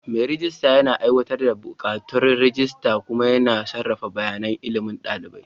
Mai rejista yana aiwatar da buƙatun rajista kuma yana sarrafa bayanan ilimi na ɗalibai.